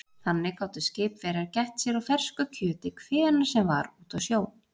Þannig gátu skipverjar gætt sér á fersku kjöti hvenær sem var úti á sjó.